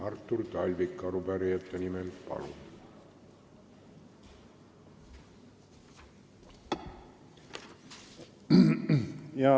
Artur Talvik arupärijate nimel, palun!